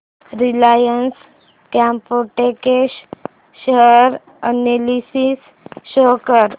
Reliance Chemotex share analysis show कर